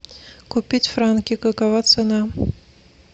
купить франки какова цена